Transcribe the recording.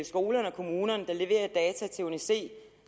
skolerne og kommunerne der leverer data til uni c